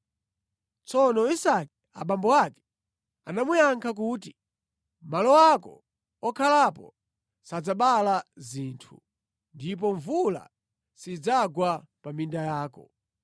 Tsono Isake abambo ake anamuyankha kuti, “Malo ako okhalapo sadzabala dzinthu, ndipo mvula sidzagwa pa minda yako.